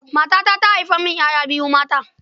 Matata ta haifa min 'ya'ya biyu mata.